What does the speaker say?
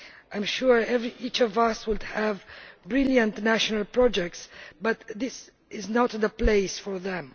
I am sure each of us would have brilliant national projects, but this is not the place for them.